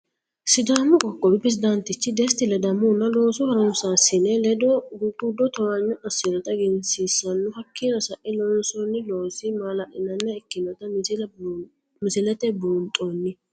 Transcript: Sidaamu qoqowi perezidaantichi desti ledamohunna loosu harunsasinesi ledo gugudo towaanyo asinotta eggensiisanno, hakkinino sae loonsonni loosi ma'lalinaniha ikkinota misilete buunxonni